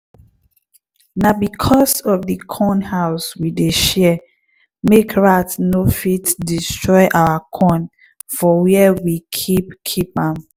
na because of the corn house we dey share make rat no fit destroy our corn for where we keep keep am.